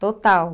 Total.